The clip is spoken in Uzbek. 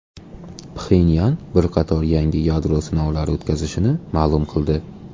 Pxenyan bir qator yangi yadro sinovlari o‘tkazilishini ma’lum qildi.